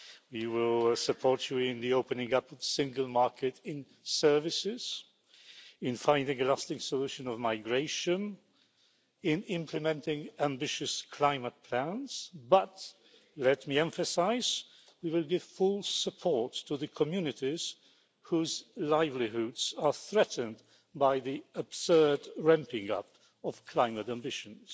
We will support you in the opening up of the single market in services, in finding a lasting solution to migration and in implementing ambitious climate plans, but let me emphasise we will give full support to the communities whose livelihoods are threatened by the absurd ramping up of climate ambitions.